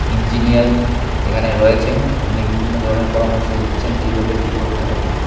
Engineer এখানে রয়েছেন তিনি বিভিন্ন ধরনের পরামর্শ দিচ্ছেন কিভাবে কি করতে হবে।